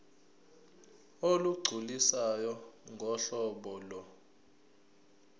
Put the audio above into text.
olugculisayo ngohlobo lo